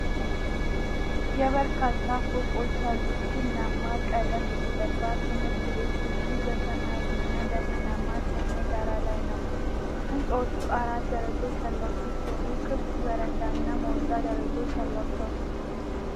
የበርካታ ፎቆች ያሉት፣ ቡናማ ቀለም የተቀባ ትምህርት ቤት ግቢ በሰማያዊና ደመናማ ሰማይ ዳራ ላይ ነው። ሕንፃዎቹ አራት ደረጃዎች ያሏቸው ሲሆን፣ ክፍት በረንዳና ውጫዊ ደረጃዎች አሏቸው።